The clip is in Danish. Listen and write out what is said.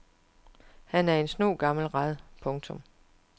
Han er en snu gammel rad. punktum